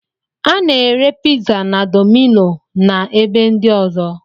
A na-ere piza na domino na ebe ndi ọzọ